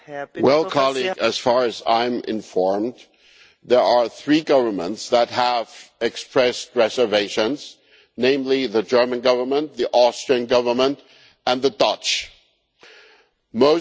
Well, as far as I am informed, there are three governments that have expressed reservations the German Government, the Austrian Government and the Dutch Government.